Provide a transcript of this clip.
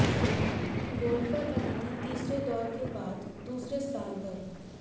golfer Aditi तीसरे दौर के बाद दूसरे स्थान पर